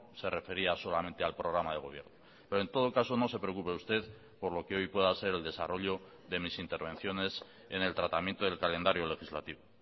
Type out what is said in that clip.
se refería solamente al programa de gobierno pero en todo caso no se preocupe usted por lo que hoy pueda ser el desarrollo de mis intervenciones en el tratamiento del calendario legislativo